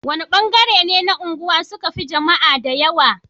wani ban gare ne na unguwa suka Fi jamaa da yawa